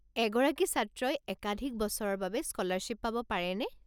এগৰাকী ছাত্ৰই একাধিক বছৰৰ বাবে স্কলাৰশ্বিপ পাব পাৰেনে?